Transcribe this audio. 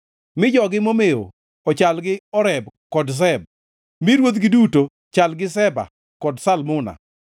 Mi jogi momew ochal gi Oreb kod Zeb mi ruodhigi duto chal gi Zeba kod Zalmuna,